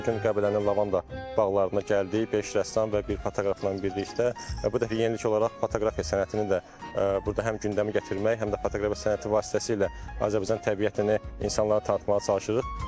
Biz də bu gün Qəbələnin Lavanda bağlarına gəldik beş rəssam və bir fotoqrafla birlikdə, bu dəfə yenilik olaraq fotoqrafiya sənətini də burda həm gündəmə gətirmək, həm də fotoqrafiya sənəti vasitəsilə Azərbaycan təbiətini insanlara tanıtmağa çalışırıq.